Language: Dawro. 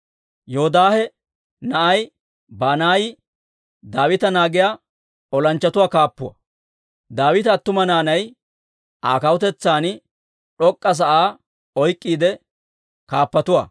Yoodaahe na'ay Banaayi Daawita naagiyaa olanchchatuwaa kaappuwaa; Daawita attumawaa naanay Aa kawutetsaan d'ok'k'a sa'aa oyk'k'iide kaappatuwaa.